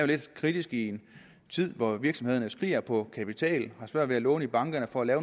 lidt kritisk i en tid hvor virksomhederne skriger på kapital har svært ved at låne i bankerne for at